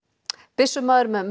byssumaður með